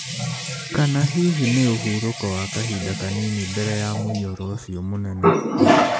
Kana hihi nĩ ũhurũko wa kahinda kanini mbere ya mũiyũro ũcio mũnene?